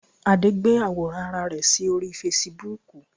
Adé gbé àwòrán Ara rẹ̀ sí orí Fesibuúkù